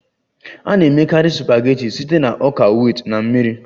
A na-emekarị supageti site na ọka wit na mmiri